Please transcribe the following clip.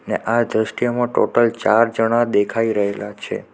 અને આ દ્રશ્યમાં ટોટલ ચાર જણા દેખાઈ રહેલા છે.